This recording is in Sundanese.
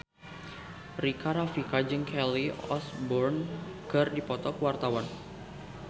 Rika Rafika jeung Kelly Osbourne keur dipoto ku wartawan